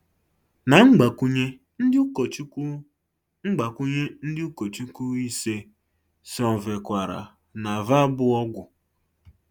Na Mgbakwunye ndị ụkọchukwu Mgbakwunye ndị ụkọchukwu ise sonyekwara na ya bụ ọgwụ